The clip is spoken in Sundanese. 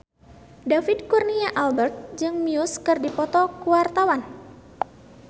David Kurnia Albert jeung Muse keur dipoto ku wartawan